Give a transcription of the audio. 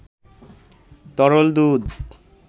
তরল দুধ